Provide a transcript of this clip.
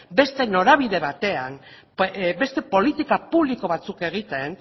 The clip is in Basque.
beste norabide batean beste politika publiko batzuk egiten